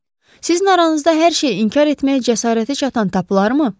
Siz aranızda hər şeyi inkar etməyə cəsarəti çatan tapılar mı?